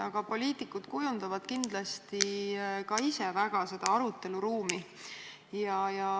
Aga poliitikud ka ise kujundavad kindlasti väga seda aruteluruumi.